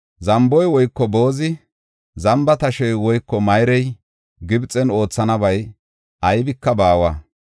Zamboy woyko boozi, zamba tashey woyko mayrey Gibxen oothanabay aybika baawa.